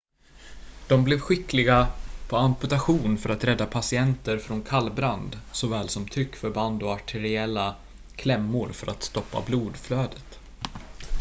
de blev skickliga på amputation för att rädda patienter från kallbrand såväl som tryckförband och arteriella klämmor för att stoppa blodflödet